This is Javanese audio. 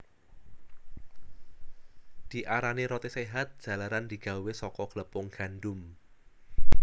Diarani roti séhat jalaran digawé saka glepung gandum